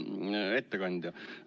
Hea ettekandja!